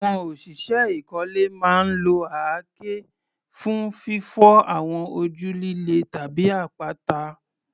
Àwọn òṣìṣẹ́ ìkọ́lé máa ń lo àáké fún fífọ́ àwọn ojú líle tàbí àpáta.